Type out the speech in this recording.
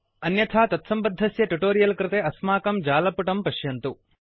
अन्यथा तत्सम्बद्धस्य ट्युटोरियल् कृते अस्माकं जालपुटं पश्यन्तु